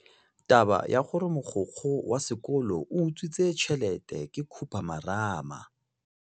Taba ya gore mogokgo wa sekolo o utswitse tšhelete ke khupamarama.